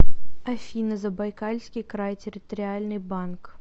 афина забайкальский край территориальный банк